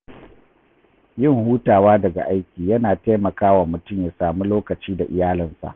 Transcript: Yin hutawa daga aiki yana taimakawa mutum ya sami lokaci da iyalinsa.